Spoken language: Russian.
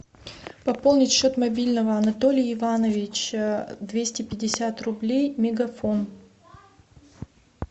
пополнить счет мобильного анатолий иванович двести пятьдесят рублей мегафон